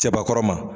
Cɛbakɔrɔ ma